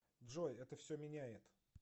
джой это все меняет